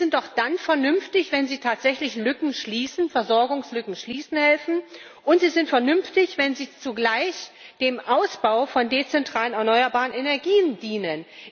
Sie sind doch dann vernünftig, wenn sie tatsächlich Lücken schließen, wenn sie helfen, Versorgungslücken zu schließen, und sie sind vernünftig, wenn sie zugleich dem Ausbau von dezentralen erneuerbaren Energien dienen.